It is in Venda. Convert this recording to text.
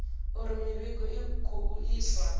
uri mivhigo i khou iswa